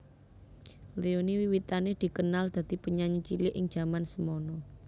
Leony wiwitané dikenal dadi penyanyi cilik ing jaman semana